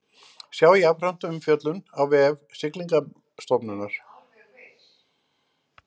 Sjá jafnframt umfjöllun á vef Siglingastofnunar